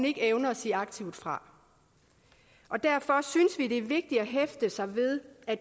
ikke evner at sige aktivt fra derfor synes vi det er vigtigt at hæfte sig ved at